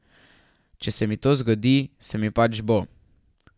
Če se mi to zgodi, se mi pač bo.